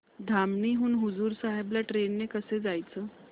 धामणी हून हुजूर साहेब ला ट्रेन ने कसं जायचं